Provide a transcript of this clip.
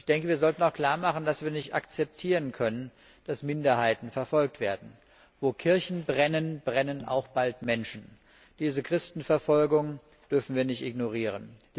Ich denke, wir sollten auch klarmachen, dass wir nicht akzeptieren können, dass Minderheiten verfolgt werden. Wo Kirchen brennen, brennen auch bald Menschen. Diese Christenverfolgung dürfen wir nicht ignorieren.